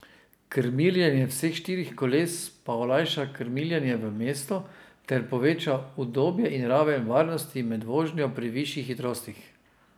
Krmiljenje vseh štirih koles pa olajša krmiljenje v mestu ter poveča udobje in raven varnosti med vožnjo pri višjih hitrostih.